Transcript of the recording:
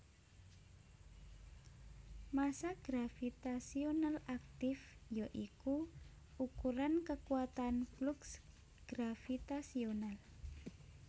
Massa gravitasional aktif ya iku ukuran kekuatan fluks gravitasional